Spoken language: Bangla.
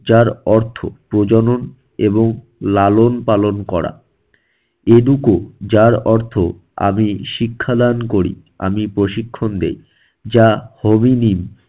যার অর্থ প্রজনন এবং লালন পালন করা। educo যার অর্থ আমি শিক্ষাদান করি আমি প্রশিক্ষণ দেই, যা হবিনি